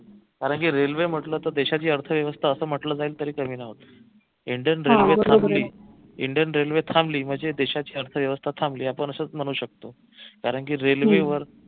कारंकी railway म्हटलं की देशाची अर्थव्यवस्था असं म्हटलं जाईल तरी कमी नव्हतं indian railway थांबली म्हणजे देशाची अर्थव्यवस्था थांबली आपण असच म्हणू शकतो कारंकी railway वर